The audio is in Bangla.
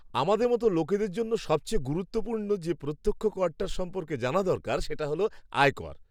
আমাদের মতো লোকেদের জন্য সবচেয়ে গুরুত্বপূর্ণ যে প্রত্যক্ষ করটার সম্পর্কে জানা দরকার সেটা হল আয় কর।